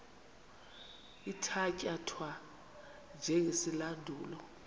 ithatya thwa njengesilandulo